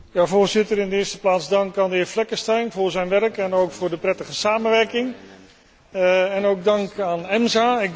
Voorzitter, in de eerste plaats dank aan de heer Fleckenstein voor zijn werk en ook voor de prettige samenwerking en ook dank aan EMSA.